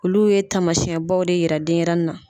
Olu ye taamasiɲɛbaw de yira denyɛrɛnin na.